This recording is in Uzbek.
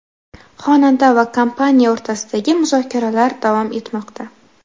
Xonanda va kompaniya o‘rtasidagi muzokaralar davom etmoqda.